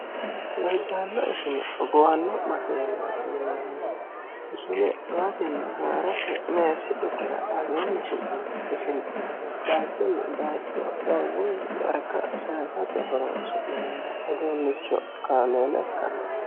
loddaanna ishine hogowanno mageel tiineemmo ishile atinni haa'rate meessi dukira aleemmi su'ni ishine daachunni gaacho garguni yarka ssate horonsu'neemmo uduunnicho kaameele ikkanneemno